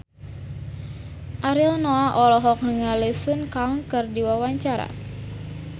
Ariel Noah olohok ningali Sun Kang keur diwawancara